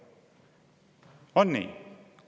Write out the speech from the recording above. On nii?